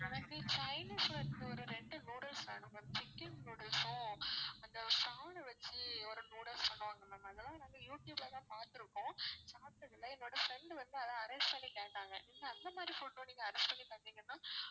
எனக்கு chinese foods ஒரு ரெண்டு noodles வேணும் ma'am சிக்கன் noodles உம் அந்த வச்சு ஒரு noodles பண்ணுவாங்கல்ல ma'am அதெல்லாம் நாங்க யூடியூப்ல தான் பாத்திருக்கோம் சாப்பிட்டது இல்லை என்னோட friend உ வந்து அதை arrange பண்ணி கேட்டாங்க நீங்க அந்த மாதிரி food உம் நீங்க arrange பண்ணி தந்தீங்கன்னா